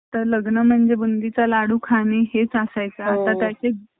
fashion designer मध्ये नाही